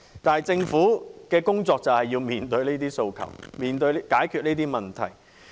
但政府的工作正是要面對這些訴求，解決這些問題。